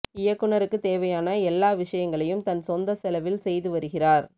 இயக்குநருக்குத் தேவையான எல்லா விஷயங்களையும் தன் சொந்த செலவில் செய்து வருகிறார்